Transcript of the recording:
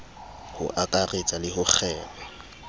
ho akaretsa le ho kgema